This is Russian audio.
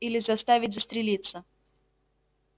или заставить застрелиться